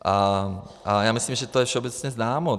A já myslím, že je to všeobecně známo.